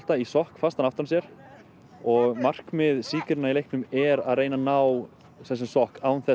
í sokk fastan aftan á sér og markmið er að reyna að ná þessum sokk án þess